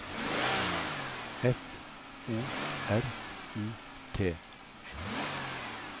F O R U T